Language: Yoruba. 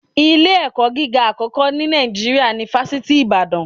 Ilé-ẹ̀kọ́ gíga àkọ́kọ́ ni Nàìjíríà ni Fásitì Ibadana